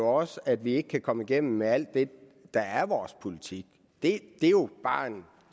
også at vi ikke kan komme igennem med alt det der er vores politik det er jo bare en